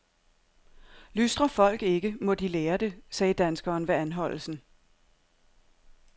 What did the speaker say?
Lystrer folk ikke, må de lære det, sagde danskeren ved anholdelsen.